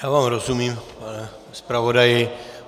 Já vám rozumím, pane zpravodaji.